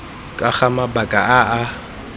ka ga mabaka a a